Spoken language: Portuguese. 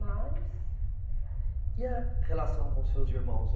Mas E a relação com os seus irmãos?